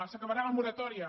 s’acabarà la moratòria